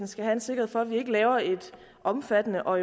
skal have en sikkerhed for at vi ikke laver et omfattende og